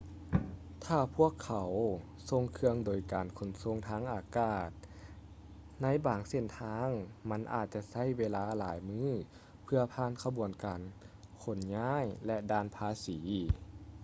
ຖ້າພວກເຂົາສົ່ງເຄື່ອງໂດຍການຂົນສົ່ງທາງອາກາດ ໃນບາງເສັ້ນທາງມັນອາດຈະໃຊ້ເວລາຫຼາຍມື້ເພື່ອຜ່ານຂະບວນການຂົນຍ້າຍ ແລະ ດ່ານພາສີ